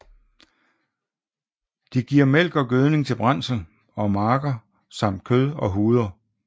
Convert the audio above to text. De giver mælk og gødning til brændsel og marker samt kød og huder